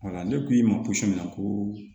ne ko i ma pɔsi min na ko